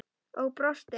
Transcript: Og brosti.